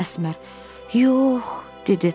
Əsmər, yox, dedi.